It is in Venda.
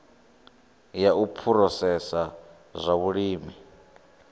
ya u phurosesa zwa vhulimi